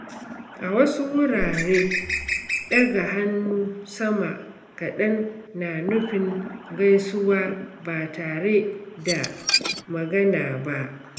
A wasu wurare, ɗaga hannu sama kadan na nufin gaisuwa ba tare da magana ba.